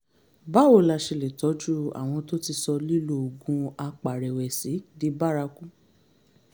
báwo la ṣe lè tọ́jú àwọn tó ti sọ lílo oògùn apàrẹ̀wẹ̀sì di bárakú?